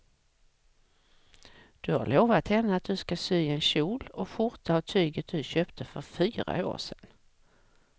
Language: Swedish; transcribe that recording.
Du har lovat henne att du ska sy en kjol och skjorta av tyget du köpte för fyra år sedan.